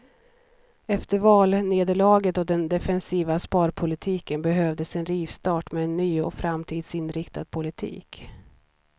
Efter valnederlaget och den defensiva sparpolitiken behövdes en rivstart med en ny och framtidsinriktad politik.